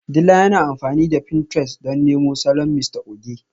Dila yana amfani da pinterest don nemo salon Mrs Oge